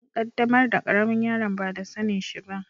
An qaddamar da karemin yaron ba da sanin shi ba.